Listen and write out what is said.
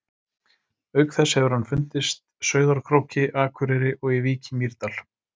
Auk þess hefur hann fundist Sauðárkróki, Akureyri og í Vík í Mýrdal.